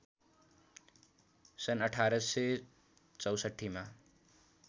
सन् १८६४ मा